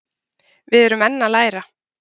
Við erum enn að læra